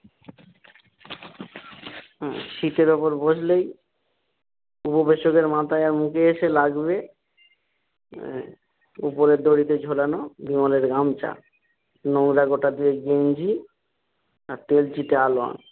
উম সিটের উপর বসলেই উপবেসকের মাথায় আর মুখে এসে লাগবে আহ ওপরের দড়িতে ঝুলানো বিমলের গামছা নোংরা গোটা দুয়েক গেঞ্জি আর তেলচিটে আলোয়ান।